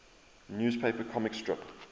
newspaper comic strip